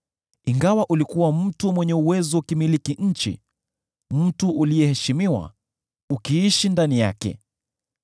ingawa ulikuwa mtu mwenye uwezo ukimiliki nchi: mtu uliyeheshimiwa, ukiishi ndani yake.